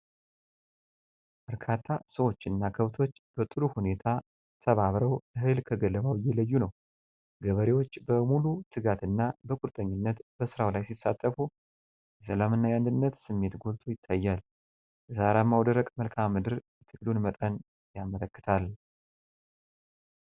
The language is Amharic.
በርካታ ሰዎችና ከብቶች በጥሩ ሁኔታ ተባብረው እህል ከገለባው እየለዩ ነው። ገበሬዎች በሙሉ ትጋት እና በቁርጠኝነት በሥራው ላይ ሲሳተፉ፤ የሰላም እና የአንድነት ስሜት ጎልቶ ይታያል። የተራራማው ደረቅ መልክዓ ምድር የትግሉን መጠን ያመለክታል።